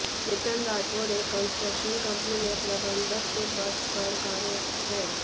चेतन राठोड़ एक construction company में प्रबंधक के पद पर कार्यरत हैं